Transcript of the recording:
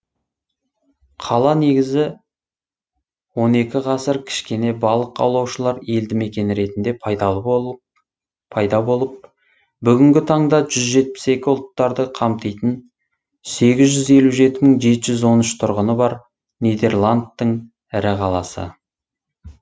қала негізі он екінші ғасыр кішкене балық аулаушылар елді мекені ретінде пайда болып бүгінгі таңда жүз жетпіс жеті ұлттарды қамтитын сегіз жүз елу жеті жеті жүз он үш тұрғыны бар нидерландтың ірі қаласы